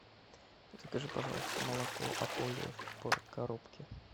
закажи пожалуйста молоко ополье в коробке